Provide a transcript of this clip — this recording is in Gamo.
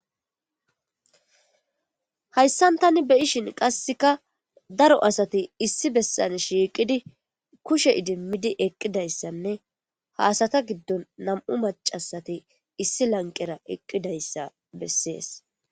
Hayssan tani beyishin qasseka daro asati issi bessan shiiqidi kushe idimmidi eqqidayssanne haasata giddon nam'u macasati issi lanqera eqqidayssa bessees.